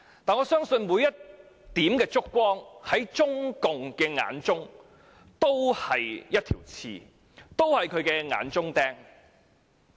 但是，我相信每一點燭光在中共眼裏都是一根刺，仍然是眼中釘。